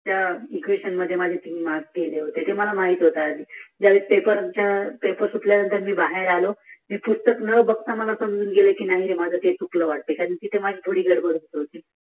त्या एक्वेशन मध्ये माझे तीन मार्क गेले होते ते मला माहित होत ज्या वेळेस पेपर सुटल्या नंतर मी बाहेर आलो मी पुस्तक न बगता मला समजून गेल माझ काही चुकल वाटते कारण तिथे माझी गल्बल सुरु होती